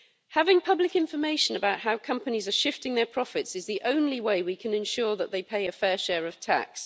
Having public information about how companies are shifting their profits is the only way we can ensure that they pay a fair share of tax.